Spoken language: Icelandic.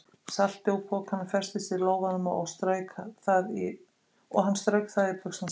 Saltið úr pokanum festist í lófanum, og hann strauk það í buxnaskálmina.